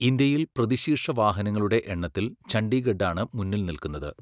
ഇന്ത്യയിൽ പ്രതിശീർഷ വാഹനങ്ങളുടെ എണ്ണത്തിൽ ചണ്ഡീഗഢാണ് മുന്നിൽ നില്കുന്നത്.